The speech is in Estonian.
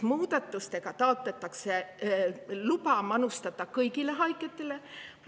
Muudatustega taotletakse luba manustada seda kõigile haigetele.